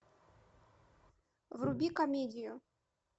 вруби комедию